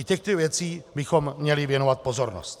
I těmto věcem bychom měli věnovat pozornost.